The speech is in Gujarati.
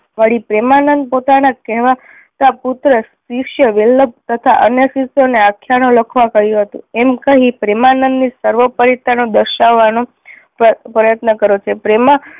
વળી પ્રેમાનંદ પોતાના કહેવાતા પુત્ર શિષ્ય વલ્લભ તથા અન્ય શિષ્યો ને આખ્યાનો લખવા કહ્યું હતું એમ કહી પ્રેમાનંદ ની સર્વો પરિતા નો દર્શાવવાનો પ્ર પ્રયત્ન કર્યો છે. પ્રેમા